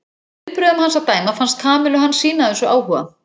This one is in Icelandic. Af viðbrögðum hans að dæma fannst Kamillu hann sýna þessu áhuga.